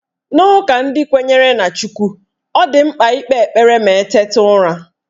N'ụka ndị kwenyere na Chukw, ọ dị mkpa ikpe ekpere ma eteta ụra